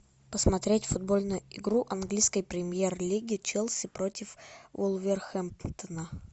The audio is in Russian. посмотреть футбольную игру английской премьер лиги челси против вулверхэмптона